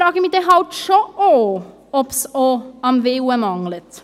Dann frage ich mich halt doch, ob es nicht auch am Willen mangelt.